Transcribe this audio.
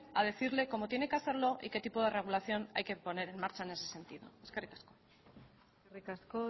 a decirle cómo tiene que hacerlo y qué tipo de regulación hay que poner en marcha en ese sentido eskerrik asko eskerrik asko